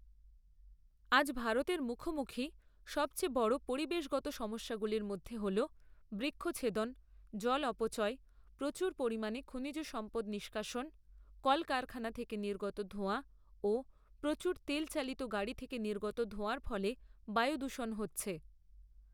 আজ ভারতের মুখোমুখি সবচেয়ে বড় পরিবেশগত সমস্যাগুলির মধ্যে হল বৃক্ষছেদন, জল অপচই, প্রচুর পরিমাণে খনিজ সম্পদ নিষ্কাশন, কলকারখানা থেকে নির্গত ধোঁয়া ও প্রচুর তেলচালিত গাড়ি থেকে নির্গত ধোঁয়ার ফলে বায়ুদূষণ হচ্ছে